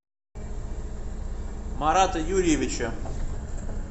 марата юрьевича